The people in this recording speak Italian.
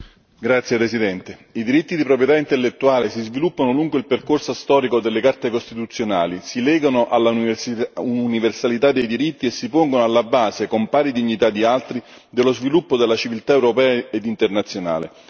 Signor Presidente, onorevoli colleghi, i diritti di proprietà intellettuale si sviluppano lungo il percorso storico delle carte costituzionali, si legano all'universalità dei diritti e si pongono alla base con pari dignità di altri, dello sviluppo della civiltà europea ed internazionale.